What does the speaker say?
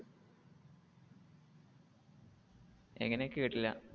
എങ്ങനെ കേട്ടില്ല?